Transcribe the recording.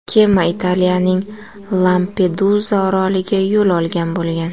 Kema Italiyaning Lampeduza oroliga yo‘l olgan bo‘lgan.